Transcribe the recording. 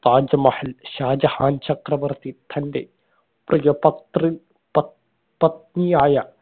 താജ്മഹൽ ഷാജഹാൻ ചക്രവർത്തി തന്റെ പ്രിയ പത്രി പത് പത്നിയായ